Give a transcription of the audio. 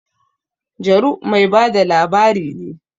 Jaru mai ba da labari ne